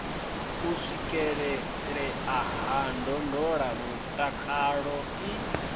u swikelelea ha ndondolamutakalo i